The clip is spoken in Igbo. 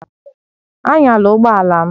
Anyala ụgbọ ala m!